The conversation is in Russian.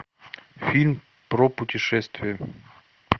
фильм про путешествия